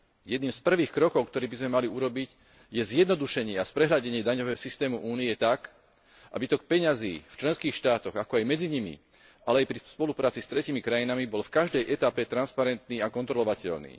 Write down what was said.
Jedným z prvých krokov, ktoré by sme mali urobiť je zjednodušenie a sprehľadnenie daňového systému Únie tak, aby tok peňazí v členských štátoch, ako aj medzi nimi, ale aj pri spolupráci s tretími krajinami bol v každej etape transparentný a kontrolovateľný.